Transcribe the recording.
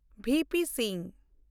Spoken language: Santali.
ᱵᱤ. ᱯᱤ. ᱥᱤᱝ